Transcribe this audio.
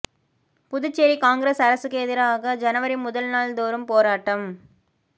புதுச்சேரி காங்கிரஸ் அரசுக்கு எதிராக ஜனவரி முதல் நாள் தோறும் போராட்டம்